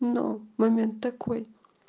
ну момент такой